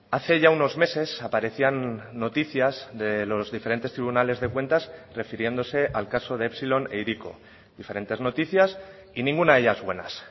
hace ya unos meses aparecían noticias de los diferentes tribunales de cuentas refiriéndose al caso de epsilon e hiriko diferentes noticias y ninguna de ellas buenas